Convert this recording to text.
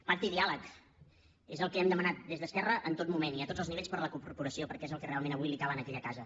pacte i diàleg és el que hem demanat des d’esquerra en tot moment i a tots els nivells per a la corporació perquè és el que realment avui cal a aquella casa